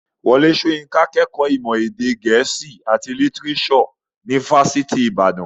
Wọlé Soyinka kẹ́kọ̀ọ́ ìmọ̀ gẹ̀ẹ́sì àti lítírésò ní fásitì ìbàdàn.